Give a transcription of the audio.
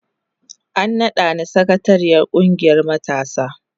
An nada ni sakatariyar kungiyar matasana.